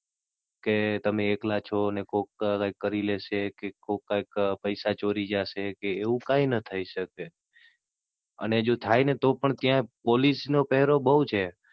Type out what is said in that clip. કે તમે એકલા છો ને કોક કઈ કરી લેશે, કે કોક કઈ પૈસા ચોરી જાશે, એવું કાઈ થઇ ના શકે. અને જો થાય ને તો પણ ત્યાં Police નો પહેરો બઉ છે.